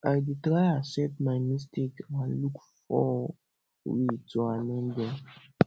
i dey try accept my mistakes and look for way to amend am